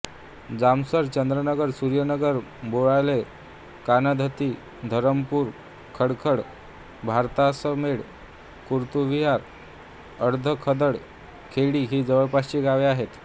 जामसर चंद्रनगर सुर्यनगर बोराळे काणाधत्ती धरमपूर खडखड भारासातमेट कुतुरविहीर अधखडक हडे ही जवळपासची गावे आहेत